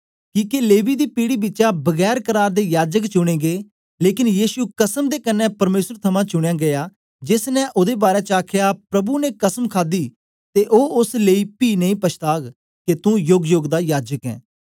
किके लेवी दी पीढ़ी बिचा बगैर करार दे याजक चुने गै लेकन यीशु कसम दे कन्ने परमेसर थमां चुनयां गीया जेस ने ओदे बारै च आखया प्रभु ने कसम खादी ते ओ ओस लेई पी नेई पछाताग के तुं योगयोग दा याजक ऐं